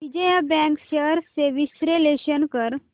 Vijaya bank shares चे विश्लेषण कर